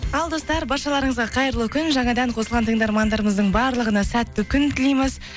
ал достар баршаларыңызға қайырлы күн жаңадан қосылған тыңдармандарымыздың барлығына сәтті күн тілейміз